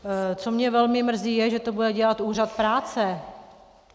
Co mě velmi mrzí, je, že to bude dělat úřad práce.